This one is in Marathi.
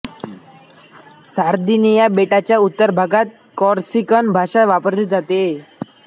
सार्दिनिया बेटाच्या उत्तर भागात कॉर्सिकन भाषा वापरली जाते